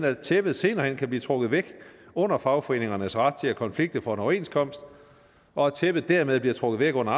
at tæppet senere hen kan blive trukket væk under fagforeningernes ret til at konflikte for en overenskomst og at tæppet dermed bliver trukket væk under